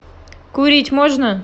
курить можно